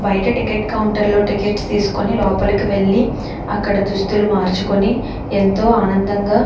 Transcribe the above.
బయట ticket counter లో tickets తెసుకొని లోపలికి వెళ్లి అక్కడ దుస్తుల్లు మరుచుకొని ఎంతో ఆనందంగా --